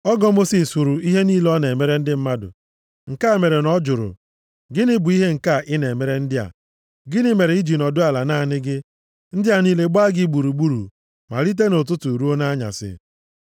Ọgọ Mosis hụrụ ihe niile ọ na-emere ndị mmadụ, nke a mere na ọ jụrụ, “Gịnị bụ ihe nke a ị na-emere ndị a? Gịnị mere i ji nọdụ ala naanị gị, ndị a niile gbaa gị gburugburu malite nʼụtụtụ ruo nʼanyasị?”